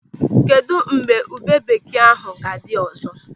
Kedụ mgbe ube bekee ahụ ga-adị ọzọ?